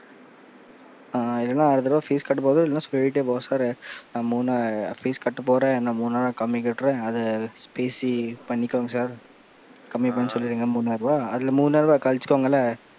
ம் இல்லைன்னா அடுத்த தடவ fees கட்ட போகும்போது சொல்லிட்டே போ sir நான் மூணா நான் fees கட்ட போறேன், நான் மூணாயிரம் கம்மி கட்டுறன், அதை பேசி பண்ணிக்கோங்க sir கம்மி பண்ண சொல்லிடுங்க மூணாயிர ரூபாய் அதுல மூனாயிரபாய் கழிச்சுப்பாங்கல்ல,